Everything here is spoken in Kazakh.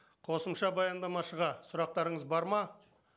қосымша баяндамашыға сұрақтарыңыз бар ма